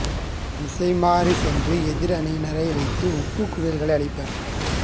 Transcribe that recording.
திசைமாறிச் சென்று எதிர் அணியினர் வைத்த உப்புக் குவியல்களை அழிப்பர்